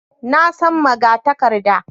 Na san magatakarda